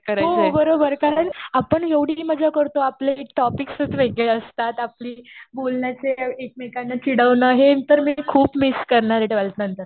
हो बरोबर.कारण आपण एवढी मजा करतो.आपले टॉपिक्सच वेगळे असतात. आपली बोलण्याची, एकमेकांना चिडवणं हे नंतर मी खूप मिस करणार आहे ट्वेल्थ नंतर.